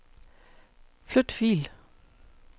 Flyt fil.